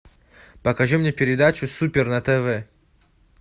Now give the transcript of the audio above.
покажи мне передачу супер на тв